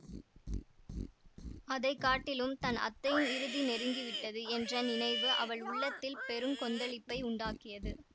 அதை காட்டிலும் தன் அத்தையின் இறுதி நெருங்கி விட்டது என்ற நினைவு அவள் உள்ளத்தில் பெரு கொந்தளிப்பை உண்டாக்கியது